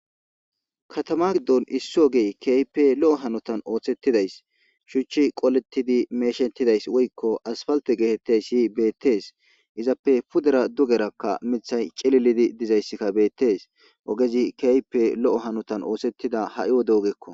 katama giddon isso gee keype lo7o hanotan ooththettidays shuchchi qoletidi meeshetidays woykko asfalte geetettey si beettees izappe pudera dugerakka mithay cililidi dizayssikka bettes ogezi keype lo7o hanotan oohsettida ha7i wode ogekko